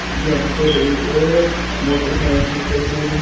यहां पर एक मोटरसाइकिल का शोरूम है।